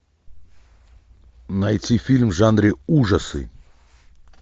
найти фильм в жанре ужасы